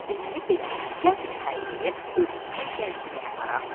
Deməli belə: gəlin Tayqeri özümüzlə gəzdirməyə aparaq.